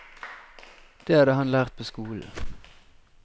Det hadde han lært på skolen.